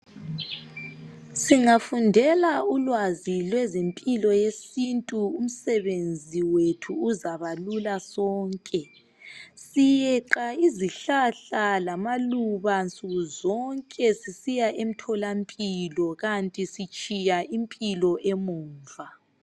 Singafundela ulwazi lwezempilo yesintu umsebenzi wethu uzabalula sonke. Siyeqa izihlahla lamaluba nsukuzonke sisiya emtholampilo kanti sitshiya impilo emuva.